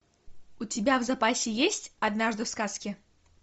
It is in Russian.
у тебя в запасе есть однажды в сказке